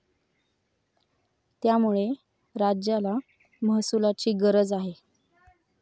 त्यामुळे राज्याला महसुलाची गरज आहे.